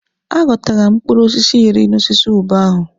A ghọtara m mkpụrụ osisi iri n'osisi ube ahụ.